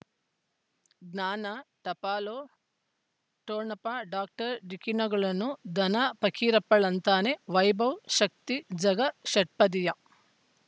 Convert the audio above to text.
ಜ್ಞಾನ ಟಪಾಲೊ ಠೊಣಪ ಡಾಕ್ಟರ್ ಢಿಕ್ಕಿ ಣಗಳನು ಧನ ಫಕೀರಪ್ಪ ಳಂತಾನೆ ವೈಭವ್ ಶಕ್ತಿ ಝಗಾ ಷಟ್ಪದಿಯ